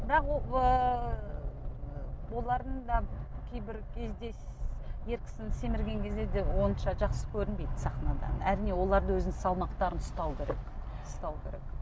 бірақ олардың да кейбір кезде ер кісінің семірген кезде де онша жақсы көрінбейді сахнада әрине олар да өзінің салмақтарын ұстау керек ұстау керек